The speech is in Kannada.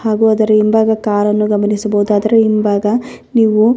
ಹಾಗು ಅದರ ಹಿಂಭಾಗ ಕಾರನ್ನು ಗಮನಿಸಬಹುದು ಅದರ ಹಿಂಭಾಗ ನೀವು --